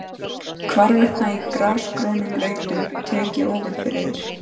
Hvarvetna í grasgrónum lautum tek ég ofan fyrir þér.